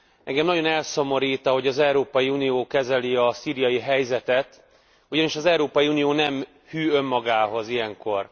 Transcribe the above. Engem nagyon elszomorít, ahogy az Európai Unió kezeli a szíriai helyzetet, ugyanis az Európai Unió nem hű önmagához ilyenkor.